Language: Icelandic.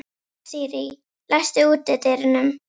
Asírí, læstu útidyrunum.